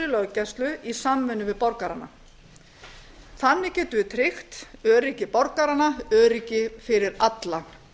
löggæslu í samvinnu við borgarana þannig getum við tryggt öryggi borganna öryggi fyrir alla